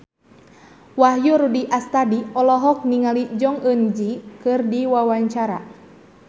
Wahyu Rudi Astadi olohok ningali Jong Eun Ji keur diwawancara